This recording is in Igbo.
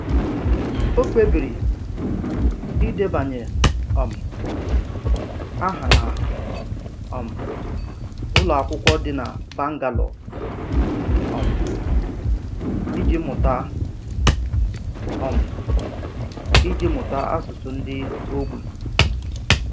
Ọ kpebìrì idebanye um áhà na um úlọ akwụkwọ dị na Bangalore um iji mụta um iji mụta asụsụ ndị ogbi.